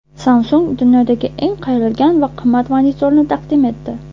Samsung dunyodagi eng qayrilgan va qimmat monitorni taqdim etdi.